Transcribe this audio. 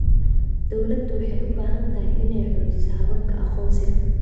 Dawladdu waxay u baahan tahay inay xoojiso hababka aqoonsiga.